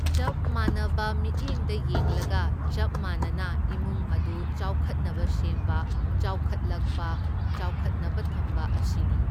ꯆꯞ ꯃꯥꯟꯅꯕ ꯃꯤꯠꯌꯦꯡꯗ ꯌꯦꯡꯂꯒ ꯆꯞ ꯃꯥꯟꯅꯅ ꯏꯃꯨꯡ ꯑꯗꯨ ꯆꯥꯎꯈꯠꯅꯕ ꯁꯦꯝꯕ, ꯆꯥꯎꯈꯠꯂꯛ, ꯆꯥꯎꯈꯠꯅꯕ ꯊꯝꯕ ꯑꯁꯤꯅꯤ꯫